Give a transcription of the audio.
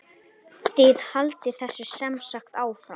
Þið haldið þessu semsagt áfram?